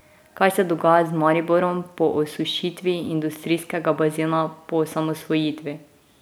Kaj se dogaja z Mariborom po osušitvi industrijskega bazena po osamosvojitvi?